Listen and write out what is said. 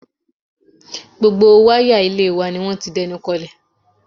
Gbogbo wáyà ilé wa ni wọ́n ti dẹnukọlẹ̀